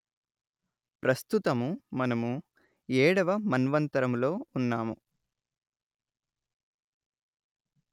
ప్రస్తుతము మనము ఏడవ మన్వంతరములో ఉన్నాము